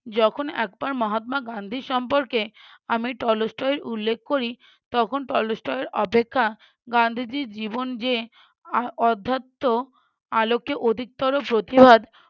যখন একবার মহাত্মা গান্ধী সম্পর্কে আমি টলস্টয় উল্লেখ করি তখন টলস্টয় এর অপেক্ষা গান্ধীজীর জীবন যে আর অদ্ধত্য আলোকে অধিকতর প্রতিবাদ